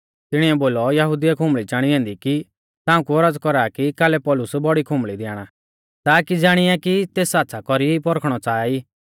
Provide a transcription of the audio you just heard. तिणीऐ बोलौ यहुदिउऐ खुंबल़ी चाणी ऐन्दी कि ताऊं कु औरज़ कौरा कि कालै पौलुस बौड़ी खुंबल़ी दी आणा ताकी ज़ाणिया कि सै तेस आच़्छ़ा कौरी पौरखणौ च़ाहा ई